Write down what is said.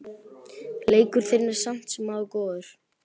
Leikur þinn er samt sem áður góður.